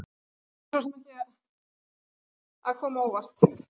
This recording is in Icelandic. Þetta ætti svo sem ekki að koma á óvart.